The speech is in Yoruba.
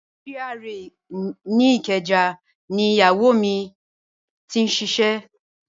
GRA ìkẹjà ni Ìyáwó mi ti ṣiṣẹ́.